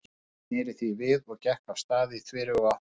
Hún sneri því við og gekk af stað í þveröfuga átt.